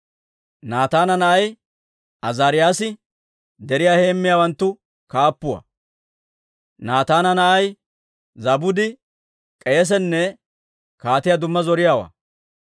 Naataana na'ay Azaariyaasi deriyaa heemmiyaawanttu kaappuwaa; Naataana na'ay Zaabudi k'eesenne kaatiyaa dumma zoriyaawaa;